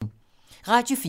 Radio 4